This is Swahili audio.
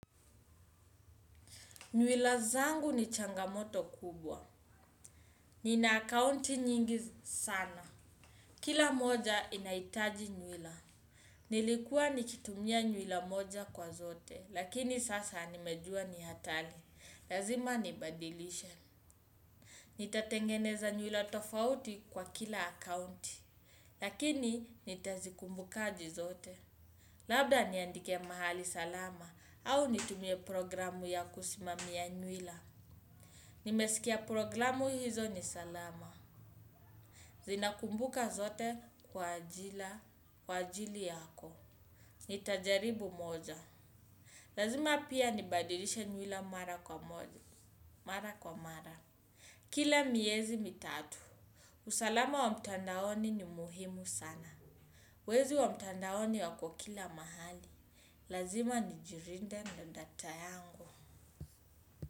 Nywila zangu ni changamoto kubwa. Nina akaunti nyingi sana. Kila moja inaitaji nywila. Nilikuwa nikitumia nywila moja kwa zote. Lakini sasa nimejua ni hatari. Lazima nibadilishe. Nitatengeneza nywila tofauti kwa kila akaunti. Lakini nitazikumbukaje zote. Labda niandike mahali salama. Au nitumie programu ya kusimamia nywila. Nimesikia programu hizo ni salama. Zinakumbuka zote kwa ajila, kwa ajili yako. Nitajaribu moja. Lazima pia nibadilishe nywila mara kwa moja. Mara kwa mara kila miezi mitatu. Usalama wa mtandaoni ni muhimu sana. Wezi wa mtandaoni wako kila mahali. Lazima nijilinde na data yangu.